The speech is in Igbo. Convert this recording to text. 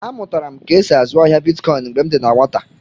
A mụtara m ka e sị azụ ahịa Bịtkọin mgbè m dị na nwata